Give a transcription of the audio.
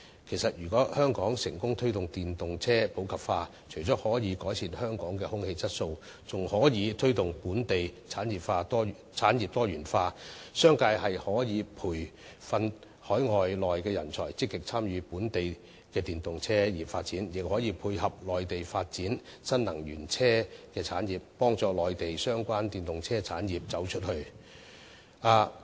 其實，如果香港成功推動電動車普及化，除了可改善香港的空氣質素外，更可以推動本地產業多元化，商界可以培訓海內外的人才，積極參與本地電動車產業發展，亦可配合內地發展新能源車產業，幫助內地相關電動車產業"走出去"。